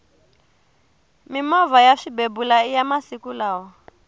mimovha ya swibebula iya masiku lawa